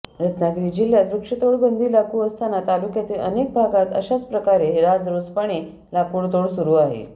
रत्नागिरी जिल्ह्यात वृक्षतोड बंदी लागू असताना तालुक्यातील अनेक भागांत अशाच प्रकारे राजरोसपणे लाकूडतोड सुरू आहे